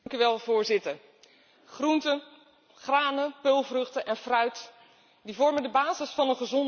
Groenten, granen, peulvruchten en fruit vormen de basis van een gezonde en goede voeding.